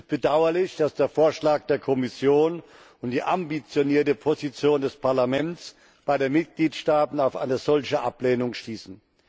Es ist bedauerlich, dass der Vorschlag der Kommission und die ambitionierte Position des Parlaments bei den Mitgliedstaaten auf eine solche Ablehnung stießen.